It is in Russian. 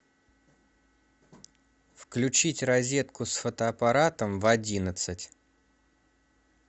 включить розетку с фотоаппаратом в одиннадцать